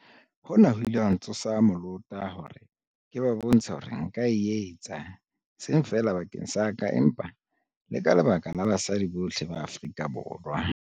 Hona ho ile ha ntsosa molota hore ke ba bontshe hore nka o etsa, e seng feela bakeng sa ka empa le ka lebaka la basadi bohle ba Afrika Borwa.